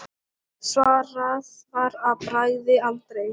Svarað var að bragði: aldrei.